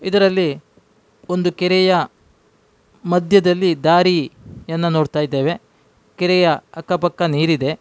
ಇದರಲ್ಲಿ ಒಂದು ಕೆರೆಯ ಮದ್ಯದಲ್ಲಿ ದಾರಿಯನ್ನು ನೋಡ್ತಿದ್ದೇವೆ ಕೆರೆಯ ಅಕ್ಕ ಪಕ್ಕ ನೀರಿದೆ.